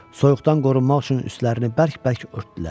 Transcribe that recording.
Soyuqdan qorunmaq üçün üstlərini bərk-bərk örtdülər.